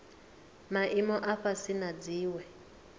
maimo a fhasi na dziwe